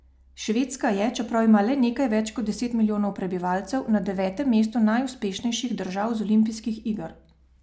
Švedska je, čeprav ima le nekaj več kot deset milijonov prebivalcev, na devetem mestu najuspešnejših držav z olimpijskih iger.